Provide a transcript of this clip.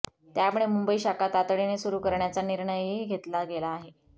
त्यामुळे मुंबई शाखा तातडीने सुरू कऱण्याचा निर्णयही घेतला गेला आहे